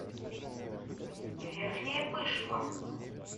верхняя пышма